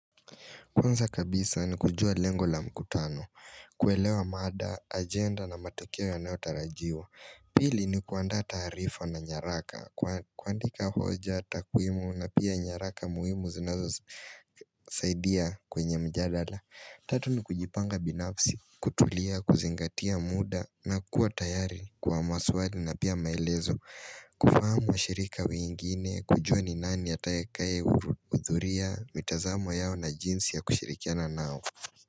Kwanza kabisa ni kujua lengo la mkutano, kuelewa mada, agenda na matukio yanayotarajiwa Pili ni kuandaa taarifa na nyaraka, kuandika hoja, takwimu na pia nyaraka muimu zinazo saidia kwenye mjadala, Tatu ni kujipanga binafsi, kutulia, kuzingatia muda na kuwa tayari kwa maswali na pia maelezo kufahamu washirika wengine kujua ni nani atakaye kuhudhuria mitazamo yao na jinsi ya kushirikiana nao.